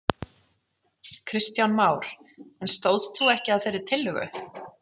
Kristján Már: En stóðst þú ekki að þeirri tillögu?